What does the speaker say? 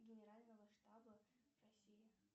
генерального штаба россии